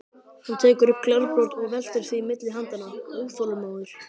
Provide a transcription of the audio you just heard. Hann tekur upp glerbrot og veltir því milli handanna, óþolinmóður.